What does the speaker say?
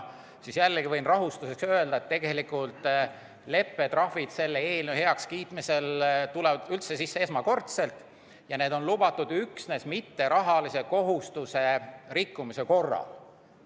Jällegi võin rahustuseks öelda, et tegelikult tulevad leppetrahvid selle eelnõu heakskiitmise korral üldse kõne alla esmakordselt ja need on lubatud üksnes mitterahalise kohustuse rikkumise korral.